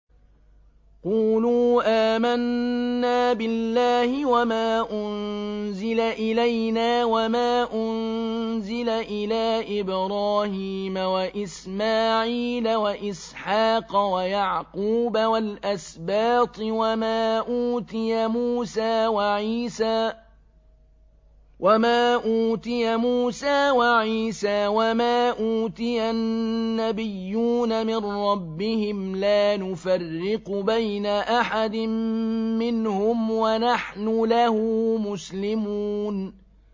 قُولُوا آمَنَّا بِاللَّهِ وَمَا أُنزِلَ إِلَيْنَا وَمَا أُنزِلَ إِلَىٰ إِبْرَاهِيمَ وَإِسْمَاعِيلَ وَإِسْحَاقَ وَيَعْقُوبَ وَالْأَسْبَاطِ وَمَا أُوتِيَ مُوسَىٰ وَعِيسَىٰ وَمَا أُوتِيَ النَّبِيُّونَ مِن رَّبِّهِمْ لَا نُفَرِّقُ بَيْنَ أَحَدٍ مِّنْهُمْ وَنَحْنُ لَهُ مُسْلِمُونَ